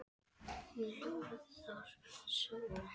Hún hljóðar svo